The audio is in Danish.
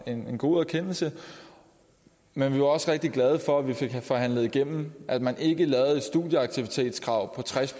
en god erkendelse men vi var også rigtig glade for at vi fik forhandlet igennem at man ikke lavede et studieaktivitetskrav på tres